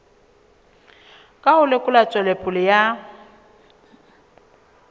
ka ho lekola tswelopele ya